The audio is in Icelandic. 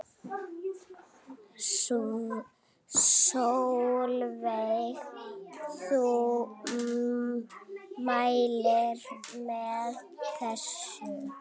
Sólveig: Þú mælir með þessu?